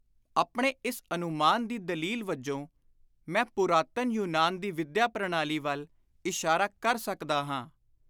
ਆਪਣੇ ਇਸ ਅਨੁਮਾਨ ਦੀ ਦਲੀਲ ਵਜੋਂ ਮੈਂ ਪੁਰਾਤਨ ਯੂਨਾਨ ਦੀ ਵਿੱਦਿਆ ਪ੍ਰਣਾਲੀ ਵੱਲ ਇਸ਼ਾਰਾ ਕਰ ਸਕਦਾ ਹਾਂ।